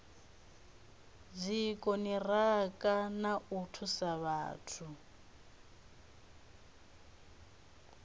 dzikoniraka na u thusa vhathu